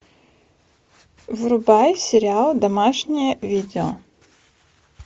врубай сериал домашнее видео